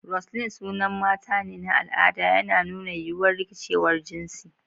Roseline sunan mata ne na al'ada, yana nuna yiwuwar rikicewar jinsi.